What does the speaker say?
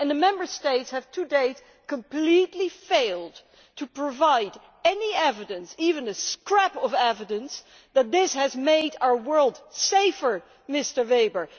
And the Member States have, to date, completely failed to provide any evidence, even a scrap of evidence, that this has made our world safer, Mr Weber.